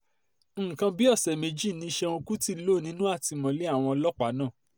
nǹkan bíi ọ̀sẹ̀ méjì ni ṣéun kútì lò nínú àtìmọ́lé àwọn ọlọ́pàá náà